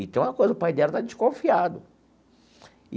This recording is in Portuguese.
E tem uma coisa, o pai dela está desconfiado.